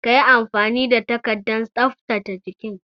Ka yi amfani da takardar tsaftace jikin!